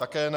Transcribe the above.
Také ne.